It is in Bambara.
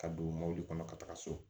Ka don mɔbili kɔnɔ ka taga so